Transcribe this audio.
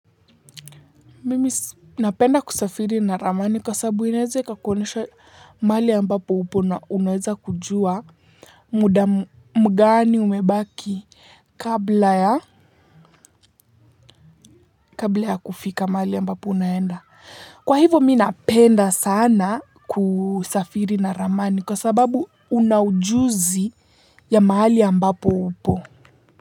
Mimi napenda kusafiri na ramani kwa sababu inaweze ikakuonyesha mahali ambapo upo na unaweza kujua muda mgani umebaki kabla ya kabla ya kufika mahali ambapo unaenda. Kwa hivo mimi napenda sana kusafiri na ramani kwa sababu una ujuzi ya mahali ambapo upo.